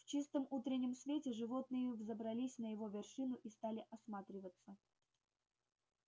в чистом утреннем свете животные взобрались на его вершину и стали осматриваться